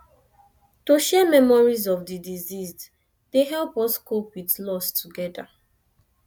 to share memories of di deceased dey help us cope with loss together